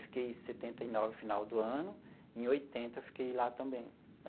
Fiquei setenta e nove, final do ano, e, em oitenta, fiquei lá também.